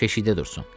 Keşikdə dursun.